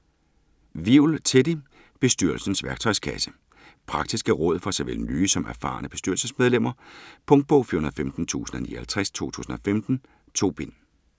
Wivel, Teddy: Bestyrelsens værktøjskasse Praktiske råd for såvel nye som erfarne bestyrelsesmedlemmer. Punktbog 415059 2015. 2 bind.